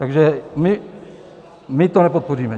Takže my to nepodpoříme.